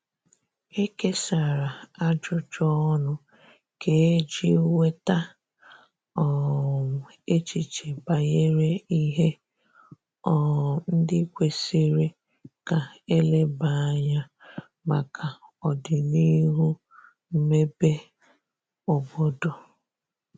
E kesara ajụjụ ọnụ kà eji nweta um echiche banyere ihe um ndi kwesiri ka eleba anya maka odinihu mmebe obodo